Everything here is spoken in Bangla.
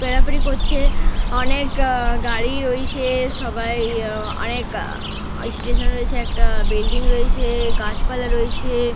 পেরাপেরি করছে। অনেক গাড়ি রয়েছে সবাই অনেক স্টেশন রয়েছে একটা। বিল্ডিং রয়েছে গাছপালা রয়েছে।